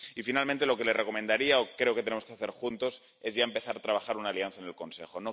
Y, finalmente, lo que le recomendaría, o creo que tenemos que hacer juntos, es ya empezar a trabajar una alianza en el Consejo.